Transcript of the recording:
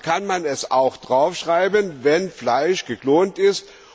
Also kann man auch draufschreiben, wenn Fleisch geklont ist.